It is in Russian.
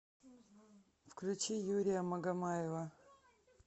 включи юрия магомаева